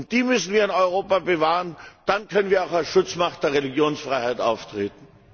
Die müssen wir in Europa bewahren, dann können wir auch als Schutzmacht der Religionsfreiheit auftreten!